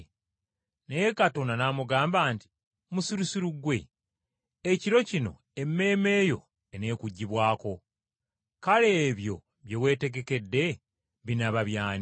“Naye Katonda n’amugamba nti, ‘Musirusiru ggwe! Ekiro kino emmeeme yo eneekuggibwako. Kale ebyo bye weetegekedde binaaba by’ani?’